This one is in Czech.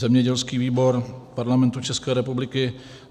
Zemědělský výbor Parlamentu České republiky